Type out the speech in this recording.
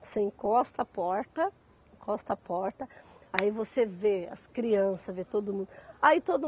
Você encosta a porta, encosta a porta, aí você vê as crianças, vê todo mundo. Aí todo